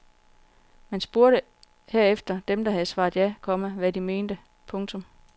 Man spurgte herefter dem der havde svaret ja, komma hvad de mente. punktum